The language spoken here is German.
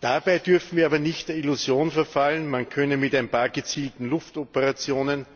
Dabei dürfen wir aber nicht der Illusion verfallen, man könne mit ein paar gezielten Luftoperationen